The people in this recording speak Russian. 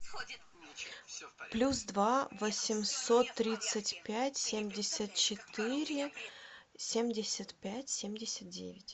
плюс два восемьсот тридцать пять семьдесят четыре семьдесят пять семьдесят девять